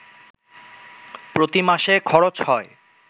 প্রতি মাসে খরচ হয়